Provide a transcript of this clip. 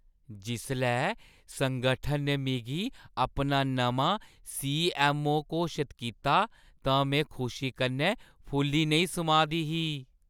जिसलै संगठन ने मिगी अपना नमां सी.ऐम्म.ओ. घोशत कीता तां में खुशी कन्नै फुल्ली नेईं समाऽ दी ही ।